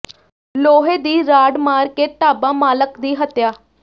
ਲੋਹੇ ਦੀ ਰਾਡ ਮਾਰ ਕੇ ਢਾਬਾ ਮਾਲਕ ਦੀ ਹੱਤਿਆ